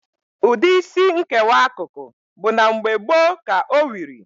Ụdị Isí nkewa akụkụ bụ na mgbe gboo ka o wiri.